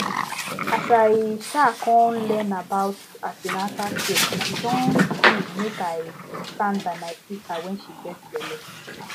as i um come learn about an ten atal care e don do mek i stand by my sister wen she get belle